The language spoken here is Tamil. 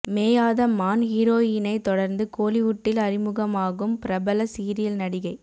மேயாத மான் ஹீரோயினை தொடர்ந்து கோலிவுட்டில் அறிமுகமாகும் பிரபல சீரியல் நடிகை